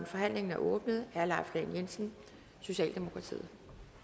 forhandlingen er åbnet herre leif lahn jensen socialdemokratiet